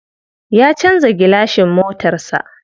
Ya canza gilashin motar sa.